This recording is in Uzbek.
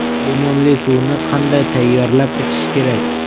Limonli suvni qanday tayyorlab ichish kerak?